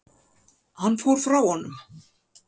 Hann fór frá honum.